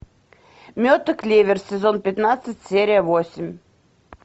мед и клевер сезон пятнадцать серия восемь